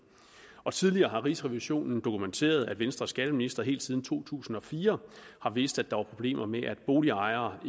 og tidligere har rigsrevisionen dokumenteret at venstres skatteministre helt siden to tusind og fire har vidst at der var problemer med at boligejere